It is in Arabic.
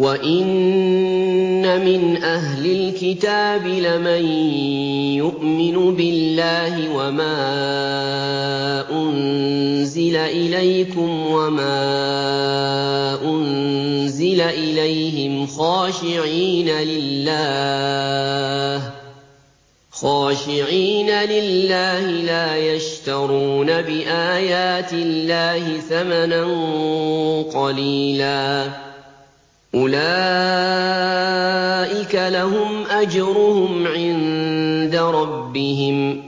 وَإِنَّ مِنْ أَهْلِ الْكِتَابِ لَمَن يُؤْمِنُ بِاللَّهِ وَمَا أُنزِلَ إِلَيْكُمْ وَمَا أُنزِلَ إِلَيْهِمْ خَاشِعِينَ لِلَّهِ لَا يَشْتَرُونَ بِآيَاتِ اللَّهِ ثَمَنًا قَلِيلًا ۗ أُولَٰئِكَ لَهُمْ أَجْرُهُمْ عِندَ رَبِّهِمْ ۗ